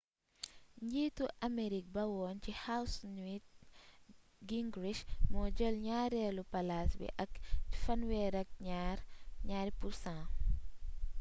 njiitu amerique ba woon ci house newt gingrich moo jël ñaareelu palaas bi ak 32%